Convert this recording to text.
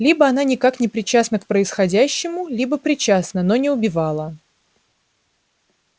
либо она никак не причастна к происходящему либо причастна но не убивала